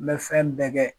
N bɛ fɛn bɛɛ kɛ